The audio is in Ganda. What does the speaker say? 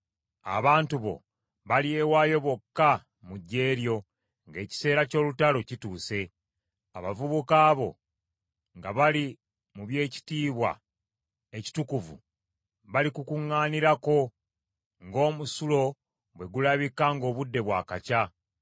Abantu bo balyewaayo bokka mu ggye lyo ng’ekiseera ky’olutalo kituuse. Abavubuka bo, nga bali mu by’ekitiibwa ekitukuvu, balikukuŋŋaanirako ng’omusulo bwe gulabika ng’obudde bwakakya.